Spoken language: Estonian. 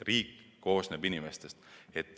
Riik koosneb inimestest.